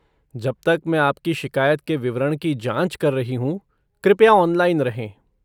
जब तक मैं आपकी शिकायत के विवरण की जाँच कर रही हूँ, कृपया ऑनलाइन रहें।